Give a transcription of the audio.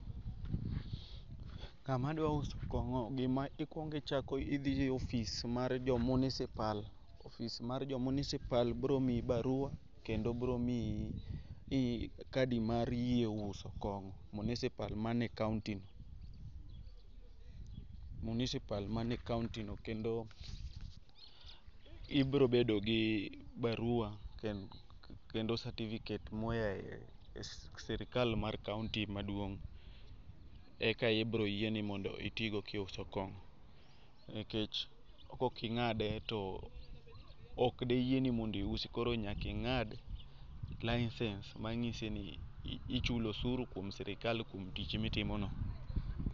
Ng'ama dwa uso kong'o gima ikuongo ichako idhie office mar jo municipal. Office mar jo municipal biro miyi barua kendo biromiyi i kadi mar yie uso kong'o municipal mane e kaontino. Municipal manie ekaontino, kendo ibiro bedogi barua kendo cerificate moyaye e sirikal mar kaonti maduong' Eka ibiro yieni mondo itiigo kiuso kong'o. Nikech koking'ade took deyieni mondo iusi koro nyaka ing'ad license ,manyiseni ichulo osuru kuom sirikal kuom tich mitimono.